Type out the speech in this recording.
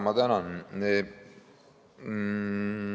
Ma tänan!